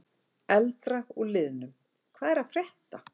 Eldra úr liðnum: Hvað er að frétta?